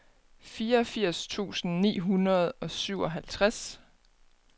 fireogfirs tusind ni hundrede og syvoghalvtreds